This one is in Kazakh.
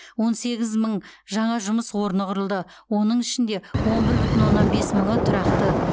он сегіз мың жаңа жұмыс орны құрылды оның ішінде он бір бүтін оннан бес мыңы тұрақты